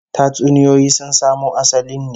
Tatsuniyoyi sun samo asalin ne